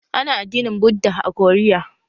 Ana addinin Buddha a Koriya